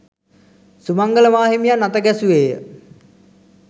සුමංගල මාහිමියන් අතගැසුවේය